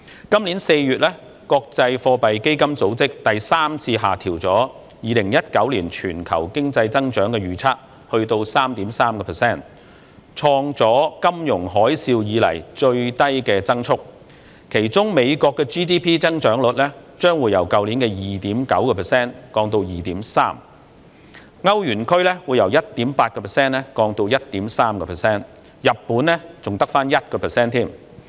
今年4月，國際貨幣基金組織第三次下調2019年全球經濟增長預測至 3.3%， 創下金融海嘯以來的最低增速，其中美國 GDP 增長率將從去年的 2.9% 降至 2.3%， 歐羅區從 1.8% 降至 1.3%， 日本則只有 1%。